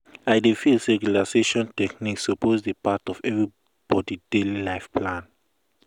i feel say relaxation techniques suppose dey part of everybody daily life life plan.